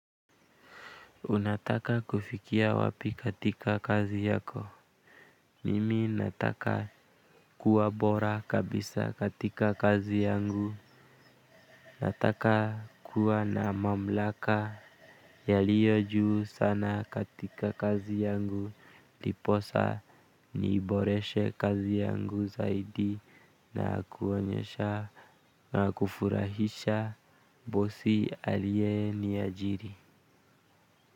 Unataka kufikia wapi katika kazi yako? Mimi nataka kuwa bora kabisa katika kazi yangu. Nataka kuwa na mamlaka yaliyo juu sana katika kazi yangu, ili niiboreshe kazi yangu zaidi. Na kuonyesha na kufurahisha bosi aliye niajiri.